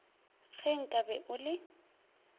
ge nka be o le